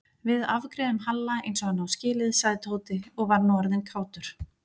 Við afgreiðum Halla eins og hann á skilið sagði Tóti og var nú orðinn kátur.